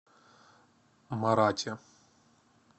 марате